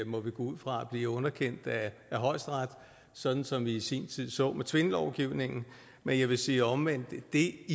må vi gå ud fra bliver underkendt af højesteret sådan som vi i sin tid så med tvindlovgivningen men jeg vil sige at omvendt er det